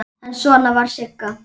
En svona var Sigga.